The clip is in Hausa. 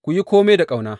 Ku yi kome da ƙauna.